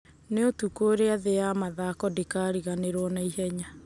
Nĩ ũtukũ ũria thĩĩ ya mathako ndikariganĩrwo na ihenya.